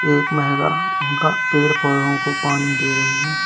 एक महिला उनका पेड़ पौधाओं को पानी दे रही है।